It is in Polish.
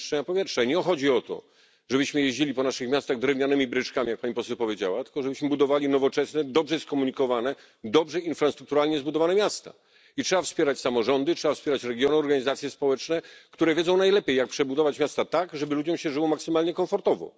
I nie chodzi o to, żebyśmy jeździli po naszych miastach drewnianymi bryczkami, jak pani poseł powiedziała, tylko żebyśmy budowali nowoczesne, dobrze skomunikowane, dobrze infrastrukturalnie zbudowane miasta. I trzeba wspierać samorządy, trzeba wspierać regiony, organizacje społeczne, które wiedzą najlepiej, jak przebudować miasta tak, żeby ludziom się żyło maksymalnie komfortowo.